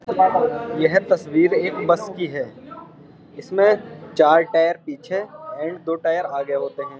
यह तस्वीर एक बस की है। इसमें चार टायर पीछे एंड दो टायर आगे होते हैं।